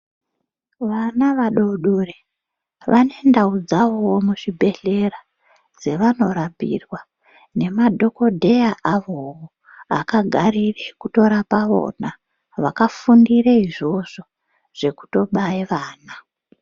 Vana vadodori vane ndawu dzavowo muzvibhedhera ,dzavanorapirwa nemadhokodheya avowo ,akagare kutorapa vona, vakafundire izvozvo zvekutobaya vana.